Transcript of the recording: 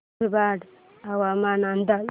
मुरबाड हवामान अंदाज